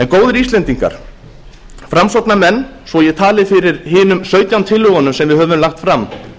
góðir íslendingar framsóknarmenn svo að ég tali fyrir hinum sautján tillögunum sem við höfum lagt fram